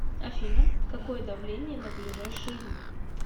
афина какое давление на ближайшие дни